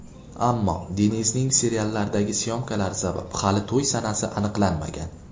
Ammo Denizning seriallardagi syomkalari sabab, hali to‘y sanasi aniqlanmagan.